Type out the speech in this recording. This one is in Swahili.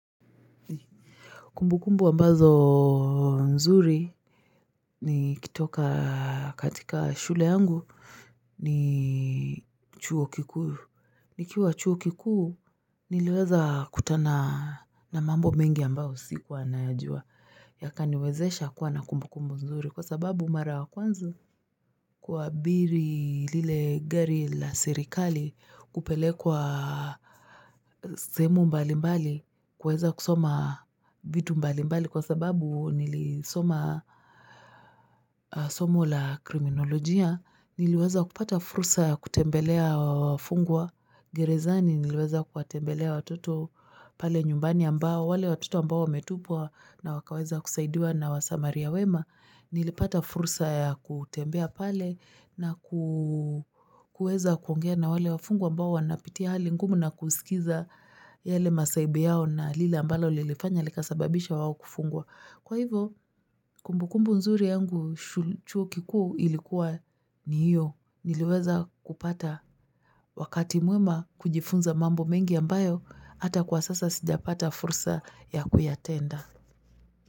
Kumbukumbu ambazo nzuri ni kutoka katika shule yangu ni chuo kikuu nikiwa chuo kikuu niliweza kukutana na mambo mengi ambayo sikuwa nayajua yakaniwezesha kuwa na kumbukumbu nzuri kwa sababu mara ya kwanza kuabiri lile gari la serikali kupelekwa sehemu mbalimbali kuweza kusoma vitu mbalimbali kwa sababu nilisoma somo la kriminolojia niliweza kupata fursa ya kutembelea wafungwa gerezani niliweza kuwatembelea watoto pale nyumbani ambao wale watoto ambao wametupwa na wakaweza kusaidiwa na wasamaria wema Nilipata fursa ya kutembea pale na kuweza kuongea na wale wafungwa ambao wanapitia hali ngumu na kusikiza yale masahibu yao na lile ambalo lilifanya likasababisha wao kufungwa. Kwa hivyo, kumbukumbu nzuri yangu chuo kikuu ilikuwa ni hiyo. Niliweza kupata wakati mwema kujifunza mambo mengi ambayo ata kwa sasa sijapata fursa ya kuyatenda.